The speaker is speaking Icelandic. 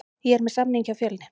Ég er með samning hjá Fjölni.